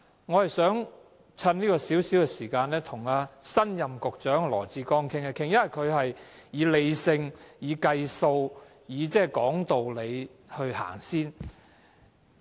我想藉這短短的發言時間，跟新任局長羅致光談一談，因為他處事理性、計算及道理先行。